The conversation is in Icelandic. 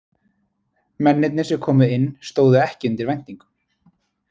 Mennirnir sem komu inn stóðu ekki undir væntingum.